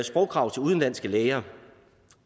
sprogkrav til udenlandske læger